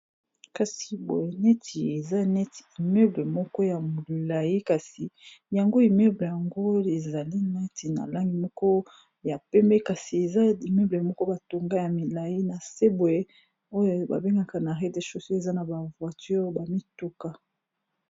Kasi boye neti eza neti immeuble moko ya molai kasi yango imeuble yango ezali neti na langi moko ya pembe kasi eza immeuble moko batonga ya milai na se boye oyo babengaka na rez-de-chaussée eza na ba voiture ba mituka.